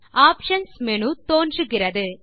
options menu தோன்றுகிறது